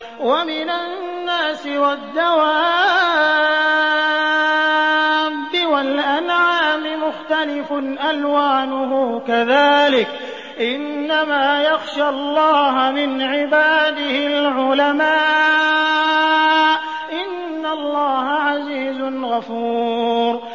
وَمِنَ النَّاسِ وَالدَّوَابِّ وَالْأَنْعَامِ مُخْتَلِفٌ أَلْوَانُهُ كَذَٰلِكَ ۗ إِنَّمَا يَخْشَى اللَّهَ مِنْ عِبَادِهِ الْعُلَمَاءُ ۗ إِنَّ اللَّهَ عَزِيزٌ غَفُورٌ